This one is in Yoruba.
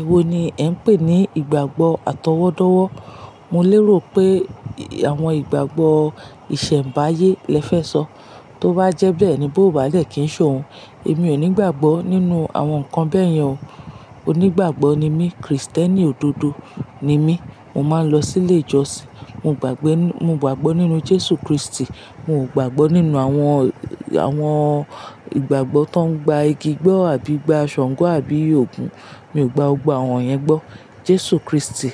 Èwo ni ẹ ń pè ní ìgbàgbọ́ àtọwọ́dọ́wọ́? Mo lérò pé àwọn ìgbàgbọ́ ìsẹ̀mbáyé lẹ fẹ́ sọ. Tó bá jẹ bẹ́ẹ̀ ni bó bá dẹ kí n sọ òun. Èmi ò nígbàgbọ́ nínú àwọn nǹkan bẹ́ẹ̀ yẹn o. Onígbàgbọ́ ni mí, Krìstẹ́nì òdodo ni mí. Mo máa ń lọ sí ilé ìjọsìn. Mo gbàgbe, mo gbàgbọ́ nínú Jésù Kristi. Mi ò gbàgbọ́ nínú àwọn, àwọn ìgbàgbọ́ tó ń gba igi gbọ́ àbí gba Ṣàngó àbí Ògún. Mi ò gba gbọ́gbo àwọn iyen gbọ́. Jésù Kristi,